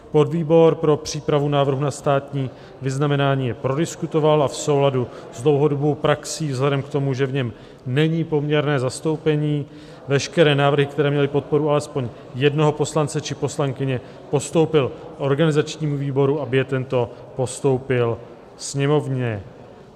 Podvýbor pro přípravu návrhu na státní vyznamenání je prodiskutoval a v souladu s dlouhodobou praxí, vzhledem k tomu, že v něm není poměrné zastoupení, veškeré návrhy, které měly podporu alespoň jednoho poslance či poslankyně, postoupil organizačnímu výboru, aby je tento postoupil Sněmovně.